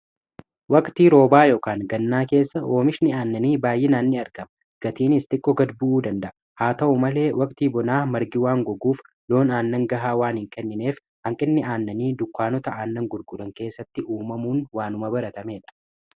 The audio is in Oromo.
waqtii roobaa yookaan gannaa keessa hoomishni aannanii baay'inaanni argama gatiinis xiqqo gad bu'uu danda'a haa ta'u malee waqtii bonaa margii waan goguuf loon aannan gahaa waanin kennineef hanqinni aannanii dukkaanota aannan gurgudan keessatti uumamuun waanuma baratamee dha